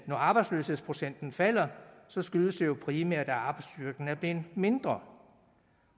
når arbejdsløshedsprocenten falder skyldes det jo primært at arbejdsstyrken er blevet mindre